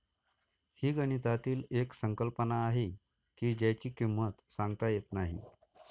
हि गणितातील एक संकल्पना आहे की ज्याची किंमत सांगता येत नाही